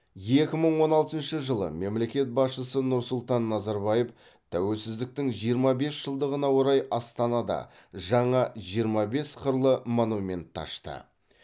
екі мың он алтыншы жылы мемлекет басшысы нұрсұлтан назарбаев тәуелсіздіктің жиырма бес жылдығына орай астанада жаңа жиырма бес қырлы монументті ашты